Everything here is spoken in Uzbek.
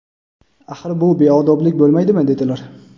axir bu beodoblik bo‘lmaydimi, dedilar.